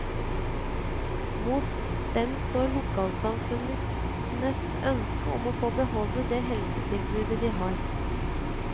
Mot dem står lokalsamfunnenes ønske om å få beholde det helsetilbudet de har.